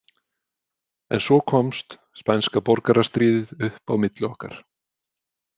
En svo komst spænska borgarastríðið upp á milli okkar.